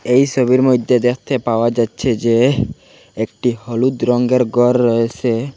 এই সবির মইদ্যে দেখতে পাওয়া যাচ্ছে যে একটি হলুদ রঙ্গের গর রয়েসে।